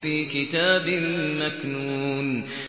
فِي كِتَابٍ مَّكْنُونٍ